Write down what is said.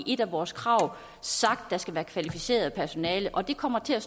et af vores krav sagt at der skal være kvalificeret personale og det kommer til at